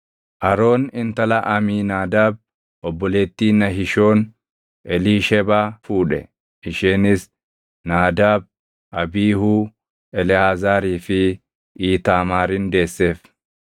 Aroon intala Amiinaadaab obboleettii Nahishoon Eliishebaa fuudhe; isheenis Naadaab, Abiihuu, Eleʼaazaarii fi Iitaamaarin deesseef.